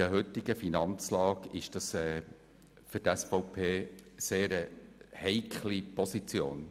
Für die SVP ist dies eine etwas heikle Position.